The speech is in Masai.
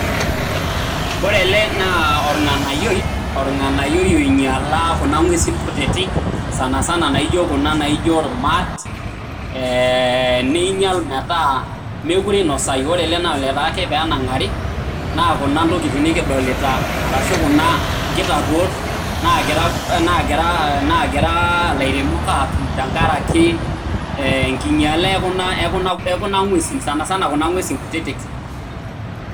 Ore ele naa orng'anayioi, orng'anayioi oinyala kuna ng'uesin kutitik, sanasana naijo kuna naijo irmaat, niinyal metaa mekure inosayu. Ore ele naa olotaa ake penang'ari, naa kuna intokiting nikidolita, arashu kuna nkitarruot nagira ilairemok atum tenkaraki enkinyala ekuna ng'uesin, sanasana kuna ng'uesin kutitik.